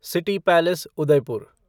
city palace Udaipur